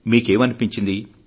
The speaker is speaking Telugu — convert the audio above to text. మీకేం కనిపించింది